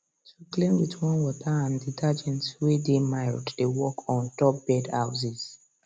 to clean with warm water and detergent way dey mild dey work on top bird houses